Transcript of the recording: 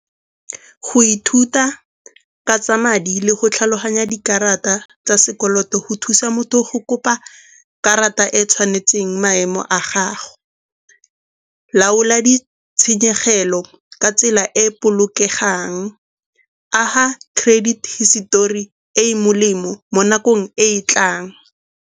Go ithuta ka tsa madi le go tlhaloganya dikarata tsa sekoloto go thusa motho go kopa karata e e tshwanetseng maemo a gago. Laola di tshenyegelo ka tsela e e bolokegang, aga credit hisetori e e molemo mo nakong e e tlang.